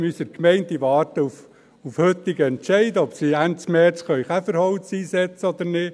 In unserer Gemeinde warten sie auf den heutigen Entscheid, ob sie Ende März Käferholz einsetzen können oder nicht.